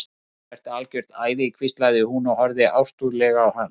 Þú ert algjört æði hvíslaði hún og horfði ástúðlega á hann.